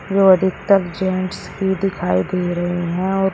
जो अधिकतम जेंट्स ही दिखाई दे रहे हैं।